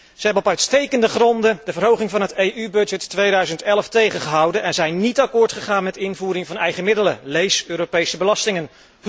Ze hebben op uitstekende gronden de verhoging van de EU begroting 2011 tegengehouden en zijn niet akkoord gegaan met de invoering van eigen middelen, lees Europese belastingen.